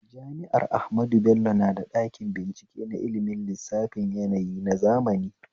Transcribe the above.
Jami'ar ahmadu bello na da ɗakin bincike na ilmin lissafin yanayi na zamani